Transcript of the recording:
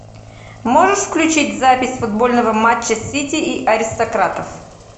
можешь включить запись футбольного матча сити и аристократов